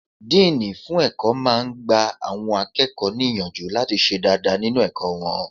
Díìnì fún ẹ̀kọ́ máa n gba àwọn akẹ́kọ̀ọ́ níyànjú láti ṣe dáadáa nínu ẹ̀kọ́ wọn